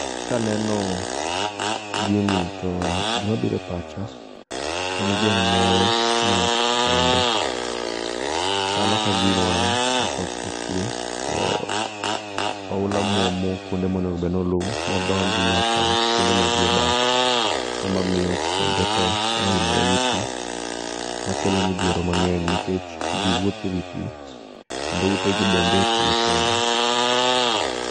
kaneno gini to gimabiro e pacha en gweng moro ma pii chando chalo ka gima kakoth ochue to oula mwomo kwonde monego bendni oluwo modonj kuonde ma jii odake emamiyo kuonde tee oimore gi pii makelo midhiero mangeny nikech jiwuothe ewi pii kendo ute gi bende pii opongo